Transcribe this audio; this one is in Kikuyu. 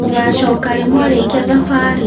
Mũgacoka rĩ mwarĩkia thabarĩ?